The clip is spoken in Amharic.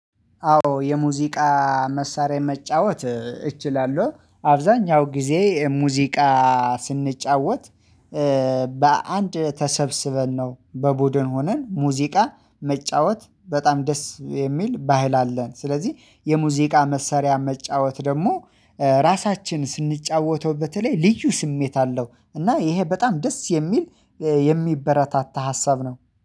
አዎ የሙዚቃ መሳሪያ መጫወት እችላለሁ አብዛኛው ጊዜ ሙዚቃ ስንጫወት። በአንድ ተሰብስበን ነው በቡድን ሆነን ሙዚቃ መጫወት በጣም ደስ የሚል ባህል አለን። ስለዚህ የሙዚቃ መሳሪያ መጫወት ደግሞ ራሳችን ስንጫወተው በተለይ ልዩ ስሜት አለው። እና ይሄ በጣም ደስ የሚል የሚበረታታ ሀሳብ ነው